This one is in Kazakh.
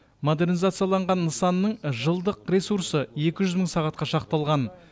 модернизацияланған нысанның жылдық ресурсы екі жүз мың сағатқа шақталған